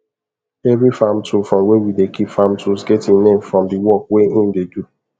every farm tool from where we dey keep farm tools get e name from the work wey him dey do